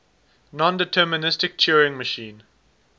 nondeterministic turing machine